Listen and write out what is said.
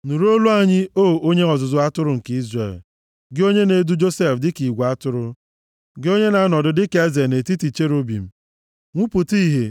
Nụrụ olu anyị, O Onye ọzụzụ atụrụ nke Izrel, gị onye na-edu Josef dịka igwe atụrụ. Gị onye na-anọdụ dịka eze, nʼetiti cherubim, nwupụta Ìhè